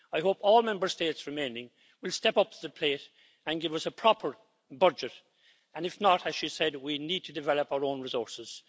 I hope all Member States remaining will step up to the plate and give us a proper budget, and if not, as she said, we need to develop our own resources.